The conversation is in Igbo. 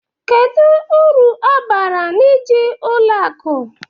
Kedu uru ọ bara n'iji ụlọ akụ?